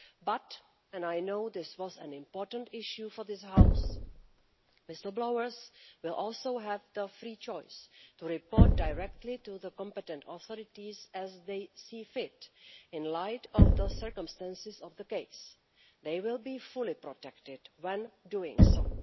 But and I know this was an important issue for this House whistle blowers will also have the free choice to report directly to the competent authorities as they see fit in light of the circumstances of the case. They will be fully protected when doing so.